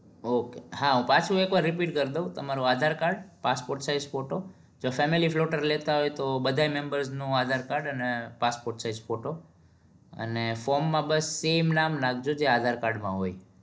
Okay હા પાછુ એક વાર repeat કરી દઉં તમારું aadhar card size photo filmi flort લેતા હોય તો બધા member નો aadhar card અને passport size ફોટો અને form માં બસ સામે નામ નાખજો જો aadhar card માં હોય